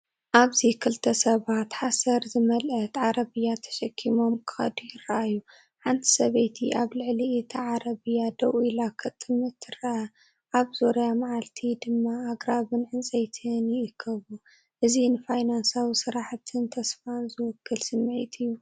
ኣብዚ ክልተ ሰባት ሓሰር ዝመልአት ዓረብያ ተሰኪሞም ክኸዱ ይረኣዩ። ሓንቲ ሰበይቲ ኣብ ልዕሊ እታ ዓረብያ ደው ኢላ ክትጥምት ትርአ። ኣብ ዙርያ መዓልቲ ድማ ኣግራብን ዕንጨይትን ይእከብ። እዚ ንፋይናንሳዊ ስራሕን ተስፋን ዝውክል ስምዒት እዩ።